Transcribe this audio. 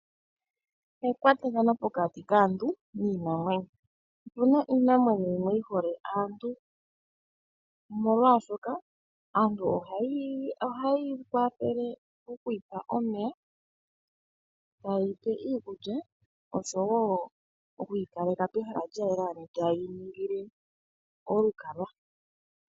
Ekwatathano pokati kaantu niinamwenyo. Opu na iinamwenyo yimwe yi hole aantu, molwashoka aantu ohaye yi pe omeya, iikulya noshowo okuyi kaleka pehala lya yela, ano haye yi ningile olukalwa.